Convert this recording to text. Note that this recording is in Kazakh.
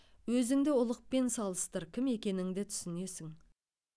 өзіңді ұлықпен салыстыр кім екеніңді түсінесің